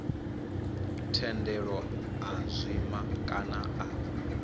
thendelo a zwima kana a